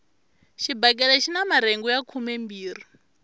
xibakele xina marhengu ya khumembirhi